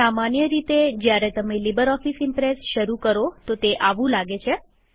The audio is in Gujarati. સામાન્ય રીતે જ્યારે તમે લીબરઓફીસ ઈમ્પ્રેસ શરુ કરો તો તે આવું લાગે છે